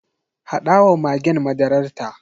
Haɗa wa magen madararta.